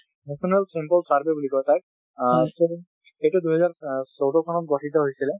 national sample survey বুলি কয় তাক । অ এইটো দুই হাজাৰ চৈধ্য চনত গঠিত হৈছিলে